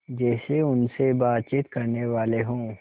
जैसे उनसे बातचीत करनेवाले हों